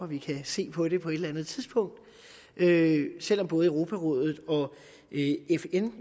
vi kan se på det på et eller andet tidspunkt selv om både europarådet og fn